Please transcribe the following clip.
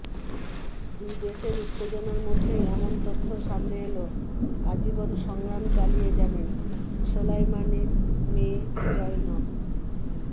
দুই দেশের উত্তেজনার মধ্যেই এমন তথ্য সামনে এলো আজীবন সংগ্রাম চালিয়ে যাবেন সোলাইমানির মেয়ে জয়নব